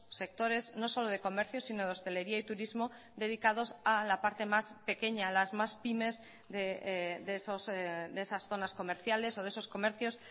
sectores no solo de comercio sino de hostelería y turismo dedicados a la parte más pequeña a las más pymes de esas zonas comerciales o de esos comercios